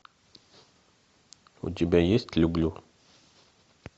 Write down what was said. у тебя есть люблю